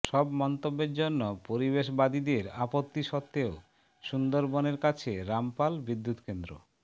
সব মন্তব্যের জন্য পরিবেশবাদীদের আপত্তি সত্ত্বেও সুন্দরবনের কাছে রামপাল বিদ্যুৎকেন্দ্র